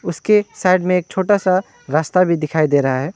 उसके साइड में एक छोटा सा रास्ता भी दिखाई दे रहा है।